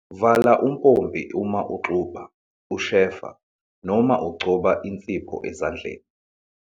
Vala umpompi uma uxubha, ushefa noma ugcoba insipho ezandleni.